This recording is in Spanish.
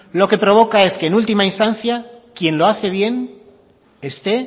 lo que provoca es que en última instancia quien lo hace bien esté